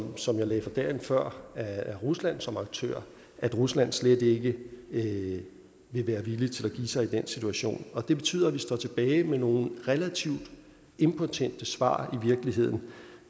som jeg lagde for dagen før af rusland som aktør at rusland slet ikke ikke vil være villig til at give sig i den situation og det betyder at vi står tilbage med nogle relativt impotente svar